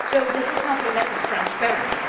So this is not a lack of transparency